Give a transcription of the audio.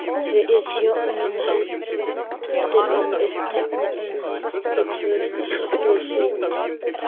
Við hjónin héldum uppteknum hætti tvö næstu sumur.